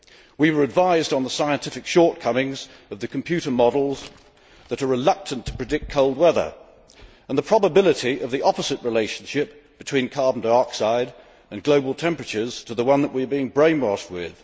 We were advised on the scientific shortcomings of the computer models that are reluctant to predict cold weather, and the probability of the opposite relationship between carbon dioxide and global temperatures to the one that we are being brainwashed with.